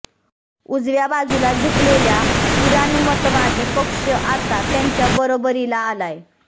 उजव्या बाजूला झुकलेल्या पुराणमतवादी पक्ष आता त्यांच्या बरोबरीला आलाय